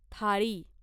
थाळी